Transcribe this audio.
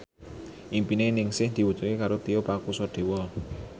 impine Ningsih diwujudke karo Tio Pakusadewo